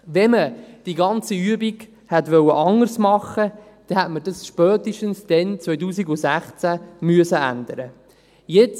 Wenn man die ganze Übung anders hätte machen wollen, hätte man es spätestens dann, 2016, ändern müssen.